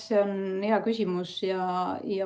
See on hea küsimus.